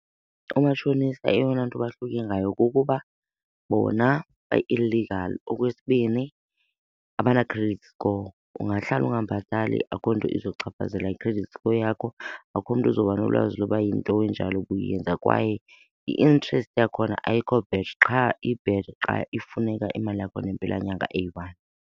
Umatshonisa eyona nto bahluke ngayo kukuba bona ba-illegal. Okwesibini, abana-credit score. Ungahlala ungabhatali akukho nto izochaphazela i-credit score yakho, akukho mntu uzobanolwazi loba yinto enjalo ubuyenza. Kwaye i-interest yakhona ayikho bad, qha i-bad xa ifuneka imali yakhona ngempelanyanga eyi-one.